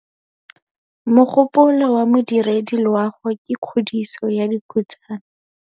Mogôpolô wa Modirediloagô ke kgodiso ya dikhutsana.